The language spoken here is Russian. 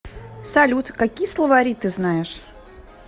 салют какие словари ты знаешь